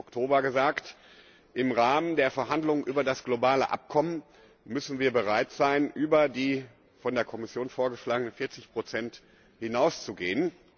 16. Oktober gesagt Im Rahmen der Verhandlungen über das globale Abkommen müssen wir bereit sein, über die von der Kommission vorgeschlagenen 40 hinauszugehen.